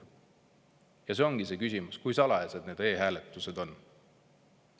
Ja nii ongi küsimus, kui salajased need e-hääletused on.